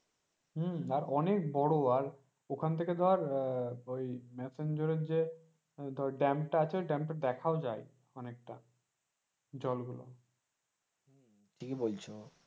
হমম অনেক বোরো আর ওখান থেকে ধর আহ ওই মেসাঞ্জরের য dam টা আছে ওই dam টা দেখাও যাই অনেকটা, ওই জলগুলো। ঠিকই বলছো।